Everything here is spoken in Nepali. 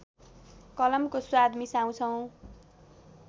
कलमको स्वाद मिसाउँछौ